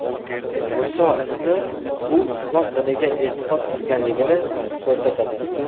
Muso ismi u islom diniga e’tiqod qilganligini ko‘rsatadi.